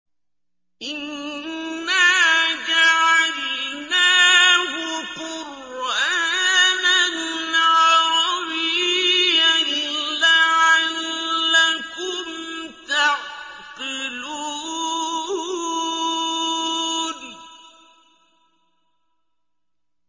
إِنَّا جَعَلْنَاهُ قُرْآنًا عَرَبِيًّا لَّعَلَّكُمْ تَعْقِلُونَ